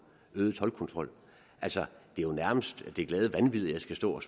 øget toldkontrol altså det er jo nærmest det glade vanvid at jeg skal stå og